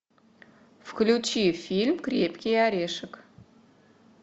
включи фильм крепкий орешек